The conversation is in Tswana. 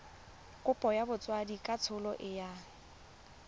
kopo ya botsadikatsholo e yang